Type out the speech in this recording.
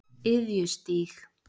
Iðjustíg